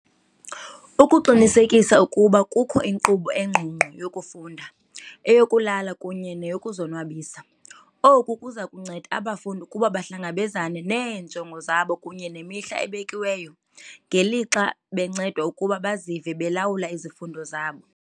Ukuqinisekisa ukuba kukho inkqubo engqongqo yokufunda, eyokulala kunye neyokuzonwabisa. Oku kuza kunceda abafundi ukuba bahlangabezane neenjongo zabo kunye nemihla ebekiweyo, ngelixa bencedwa ukuba bazive belawula izifundo zabo.